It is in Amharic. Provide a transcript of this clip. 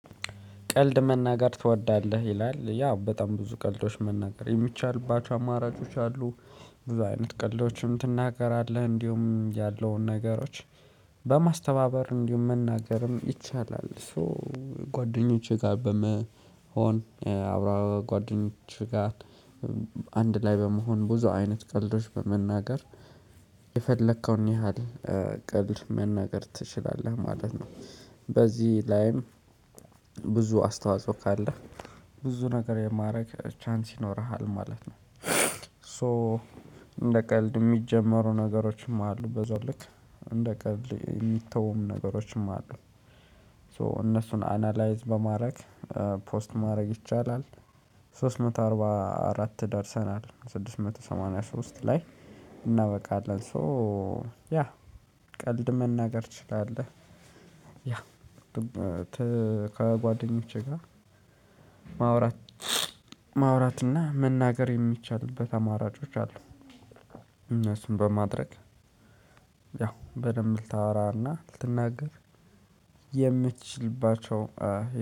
ቀልድ መናገር ትወዳለህ ይላል ያው በጣም ብዙ ቀልዶች መናገር የሚቻልባቸው አማራጮች አሉ። ብዙ አይነት ቀልዶችም ትናገራለህ እንዲሁም ያለውን ነገሮች በማስተባበር እንዲሁም መናገርም ይቻላል። ሶ ጓደኞቼ ጋር በመሆን አብራ ጓደኞቼ ጋር አንድ ላይ በመሆን ብዙ አይነት ቀልዶች በመናገር የፈለከውን ያህል ቀልድ መናገር ትችላለህ ማለት ነው። በዚህ ላይም ብዙ አስተዋጽኦ ካለህ ብዙ ነገር የማደርግ ቻንስ ይኖርሃል ማለት ነው። ሶ እንደ ቀልድ የሚጀመሩ ነገሮችም አሉ በዛው ልክ እንደ ቀልድ የሚተውም ነገሮችም አሉ። ሶ እነሱን አናላይዝ በማድረግ ፖስት ማድረግ ይቻላል። ሶስት መቶ አርባ አራት ደርሰናል ስድስት መቶ ሰማንያ ሶስት ላይ እናበቃለን። ሶ ያ ቀልድ መናገር ትችላለህ? ያ ከጓደኞቼ ጋር ማውራት ማውራት እና መናገር የሚቻልበት አማራጮች አሉ። እነሱን በማድረግ ያው በደንብ ልታወራና ልትናገር የምትችልባቸው